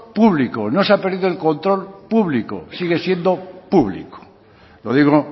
público no se ha perdido el control público sigue siendo público lo digo